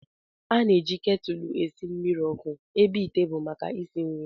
A na-eji ketụl esi mmiri ọkụ ebe ite bụ maka isi nri